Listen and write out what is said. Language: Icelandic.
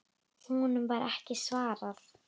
Honum var ekki svarað.